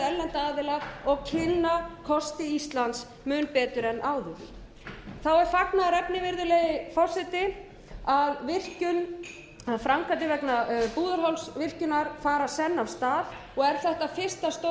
aðila og kynna kosti íslands mun betur en áður þá er fagnaðarefni virðulegi forseti að framkvæmdir vegna búðarhálsvirkjunar fara senn af stað er þetta fyrsta stórframkvæmdin